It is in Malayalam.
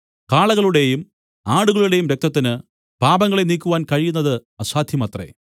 കാളകളുടെയും ആടുകളുടെയും രക്തത്തിന് പാപങ്ങളെ നീക്കുവാൻ കഴിയുന്നത് അസാധ്യമത്രെ